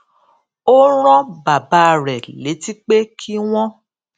ó rán bàbá rè létí pé kí wọn